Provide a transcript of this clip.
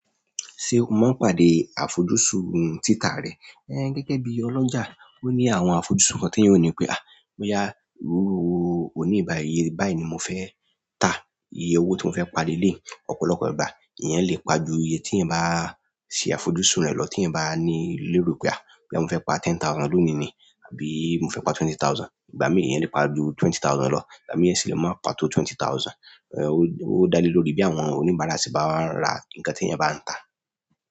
Ṣe o máa n pàdé àfojúsùn títà rẹ? Gẹ́gẹ́ bí ọlọ́jà, ó ní àwọn àfojúsùn kan tí iyan ò ní pé "bóyá, oní yìí bàáyii, iye báyìí ni mo fẹ́ tà iye owó tí mo fẹ́ pa leleyii ọ̀pọ̀lọpọ̀ ìgbà". Ìyan lè pa ju iye tí iyan bá ṣe àfojúsùn rẹ lọ tí iyan bá ní léro pé, bóyá mo fẹ́ pa ten thousand lónìí ni, àbí mo fẹ́ pa twenty thousand. Ìgbà mìí, ìyan lè pa ju twenty thousand lọ, ìgbà mìí iyan sì lè má pa tó twenty thousand. Ó dá lé lórí bí àwọn oníbàárà sì ba wá ra nǹkan tí iyan bá ń tà.